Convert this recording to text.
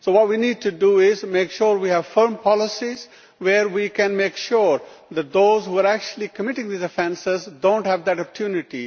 What we need to do is make sure we have foreign policies where we can make sure that those who are actually committing these offences do not have that opportunity.